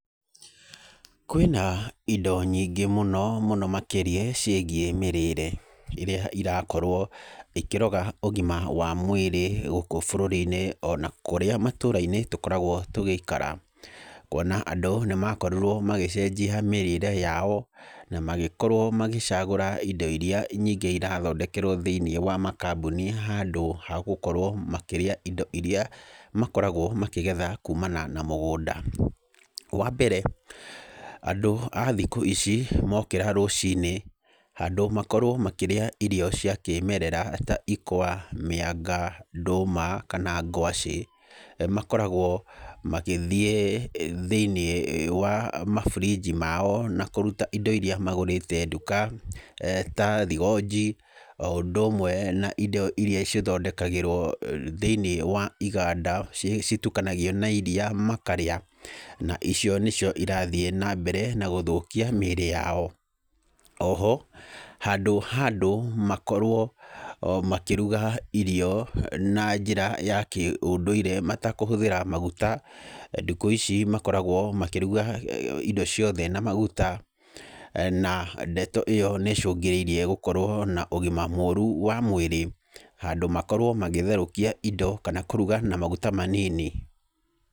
Kwĩna indo nyingĩ mũno, mũno makĩria ciĩgiĩ mĩrĩĩre ĩrĩa ĩrakorwo ikĩroga ũgima wa mwĩrĩ gũkũ bũrũri-inĩ ona kũrĩa matũũra-inĩ tũkoragwo tũgĩikara. Kuona atĩ andũ nĩ makorirwo magĩcenjia mĩrĩĩre yao, na magĩkorwo magĩcagũra indo irĩa nyingĩ irathondekerwo thĩiniĩ wa makambuni handũ ha gũkorwo makĩrĩa indo irĩa makoragwo makĩgetha kuumana na mũgũnda. Wa mbere, andũ a thikũ ici mokĩra rũcinĩ, handũ makorwo makĩrĩa irio cia kĩĩmerera ta ikwa, mĩanga, ndũma kana ngwacĩ, makoragwo magĩthiĩ thĩiniĩ wa ma fridge mao na kũruta indo irĩa magũrĩte nduka ta thigonji, o ũndũ ũmwe na indo irĩa ithondekagĩrwo thĩiniĩ wa iganda itukanagio na iria makarĩa. Na icio nĩcio irathiĩ na mbere na gũthũkia mĩĩrĩ yao. O ho handũ ha andũ makorwo o makĩruga irio na njĩra ya kĩũndũire matakũhũthĩra maguta, thikũ ici makoretwo makĩruga indo ciothe na maguta. Na ndeto ĩyo nĩ ĩcũngĩrĩirie gũkorwo na ũgima mũru wa mwĩrĩ. Handũ makorwo magĩtherũkia indo kana kũruga na maguta manini.